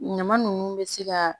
Ɲama nunnu bɛ se ka